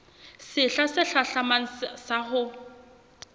sehla se hlahlamang sa ho